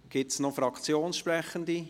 Gibt es noch Fraktionssprechende?